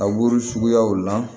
A wuru suguyaw la